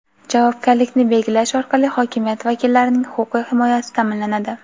javobgarlikni belgilash orqali hokimiyat vakillarining huquqiy himoyasi ta’minlanadi.